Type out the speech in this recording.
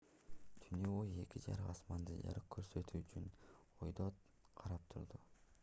түнү бою эки жарык асманды жарык көрсөтүү үчүн өйдө карап турду